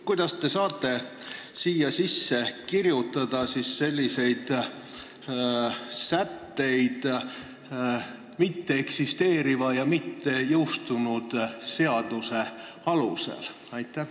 Kuidas te saate siia kirjutada sätteid mitteeksisteeriva ja mittejõustunud seaduse alusel?